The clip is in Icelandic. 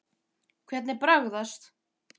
Hvernig bragðast?